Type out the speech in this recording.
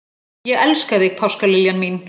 Ég elska þig, páskaliljan mín.